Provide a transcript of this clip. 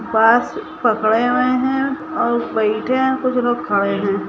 बांस पकड़े हुए हैं और बैठे हैं कुछ लोग खड़े हुए हैं।